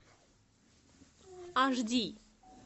аш ди